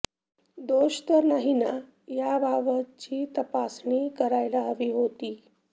दोष तर नाही ना याबाबतची तपासणी करायला हवी होती